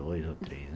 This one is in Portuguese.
Dois ou três.